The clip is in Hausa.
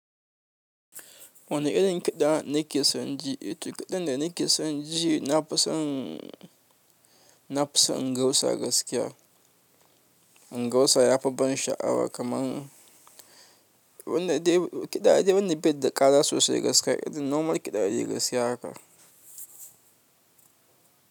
Wani irin kiɗa nake son ji, eh to kiɗan da nake son ji nafi son, nafi son Ingausa gaskiya. Ingausa yafi ban sha'awa kaman wanda dai kiɗa dai wanda bai da ƙara sosai gaskiya. Irin normal kiɗa dai gaskiya haka.